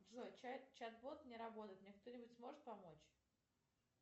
джой чатбот не работает мне кто нибудь сможет помочь